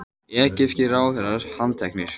Egypskir ráðherrar handteknir